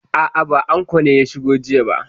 A'a, ba anko ne ya shigo aji ba.